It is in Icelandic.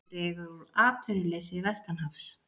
Dregur úr atvinnuleysi vestanhafs